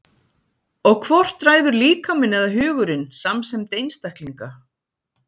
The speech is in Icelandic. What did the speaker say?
Og hvort ræður líkaminn eða hugurinn samsemd einstaklinga?